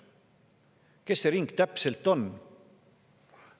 Kes sinna ringi täpselt kuuluvad?